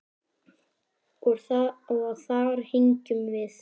Og þar héngum við.